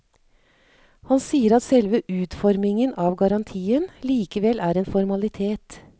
Han sier at selve utformingen av garantien likevel er en formalitet.